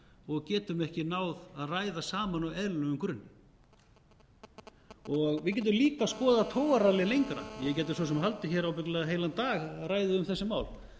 og getum ekki náð að ræða saman á eðlilegum grunni við getum líka skoðað togararallið lengra ég gæti svo sem haldið hér ábyggilega heilan dag áfram að ræða um þessi mál